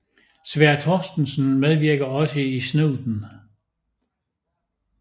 Sverre Thorstensen medvirker også i Snuten